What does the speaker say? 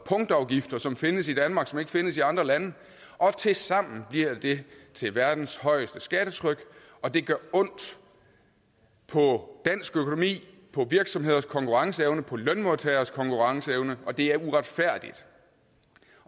punktafgifter som findes i danmark og som ikke findes i andre lande tilsammen bliver det til verdens højeste skattetryk og det gør ondt på dansk økonomi på virksomheders konkurrenceevne og på lønmodtageres konkurrenceevne og det er uretfærdigt